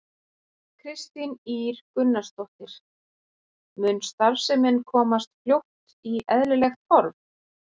Kristín Ýr Gunnarsdóttir: Mun starfsemin komast fljótt í eðlilegt horf?